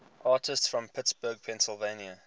artists from pittsburgh pennsylvania